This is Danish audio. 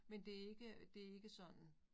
Men det ikke det ikke sådan